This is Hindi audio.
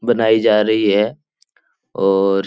बनाई जा रही है और --